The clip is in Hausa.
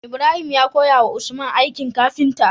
Ibrahim ya koya wa usman aikin kafinta